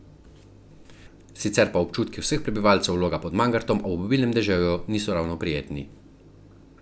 Sicer pa občutki vseh prebivalcev Loga pod Mangartom ob obilnem deževju niso ravno prijetni.